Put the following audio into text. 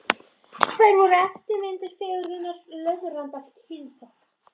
Þær voru eftirmyndir fegurðarinnar, löðrandi af kynþokka.